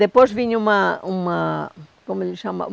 Depois vinha uma uma... como ele chama?